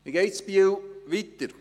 Wie geht es in Biel weiter?